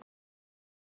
Rennur út.